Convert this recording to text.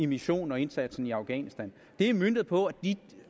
missionen og indsatsen i afghanistan det er møntet på de